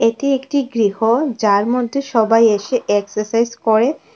এটি একটি গৃহ যার মধ্যে সবাই এসে এক্সারসাইজ করে।